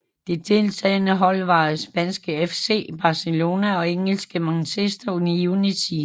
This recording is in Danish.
De deltagende hold var spanske FC Barcelona og engelske Manchester United